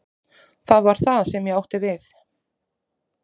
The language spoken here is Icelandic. Það var það sem ég átti við.